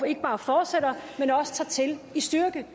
ikke bare fortsætter men også tager til i styrke